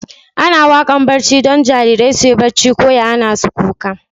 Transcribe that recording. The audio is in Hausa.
Ana waƙar barci don jarirai su yi barci ko ya hana su kuka.